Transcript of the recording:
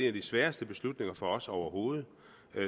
af de sværeste beslutninger for os overhovedet